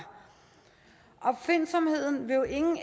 opfindsomheden vil jo ingen